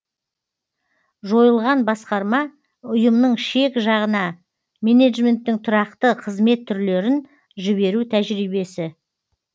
жойылған басқарма ұйымның шек жағына менеджменттің тұрақты қызмет түрлерін жіберу тәжірибесі